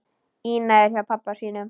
Ína er hjá pabba sínum.